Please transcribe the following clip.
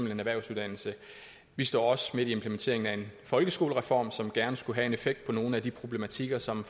en erhvervsuddannelse vi står også midt i implementeringen af en folkeskolereform som gerne skulle have en effekt i nogle af de problematikker som